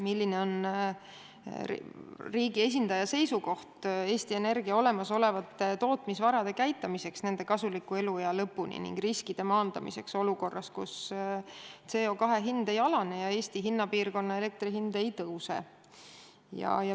Milline on riigi esindaja seisukoht Eesti Energia olemasolevate tootmisvarade käitamiseks nende kasuliku eluea lõpuni ning riskide maandamiseks olukorras, kus CO2 hind ei alane ja Eesti hinnapiirkonna elektri hind ei tõuse?